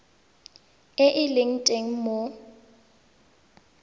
e e leng teng mo